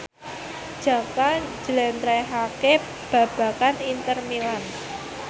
Jaka njlentrehake babagan Inter Milan